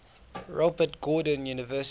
robert gordon university